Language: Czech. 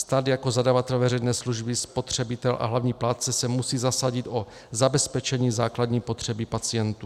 Stát jako zadavatel veřejné služby, spotřebitel a hlavní plátce se musí zasadit o zabezpečení základní potřeby pacientů.